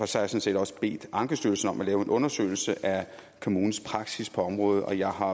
sådan set også bedt ankestyrelsen om at lave en undersøgelse af kommunens praksis på området og jeg har